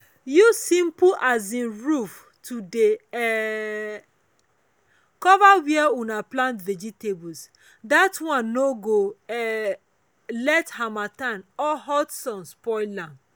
use simple um roof to dey um cover where una plant vegetables that one no ge um let harmattan or hot sun spoil am.